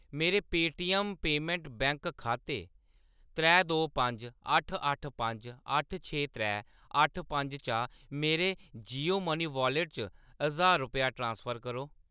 मेरे Paytm payment bank खाते त्रै दो पंज अट्ठ अट्ठ पंज अट्ठ छे त्रै अट्ठ पंज चा मेरे जियो मनी वालेट च ज्हार रपेऽ ट्रांसफर करो